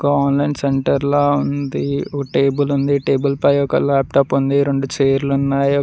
Online సెంటర్ల ఉంది table ఉంది టేబుల్ పై ఒక లాప్టాప్ ఉంది రెండు చైర్ లు ఉన్నాయి.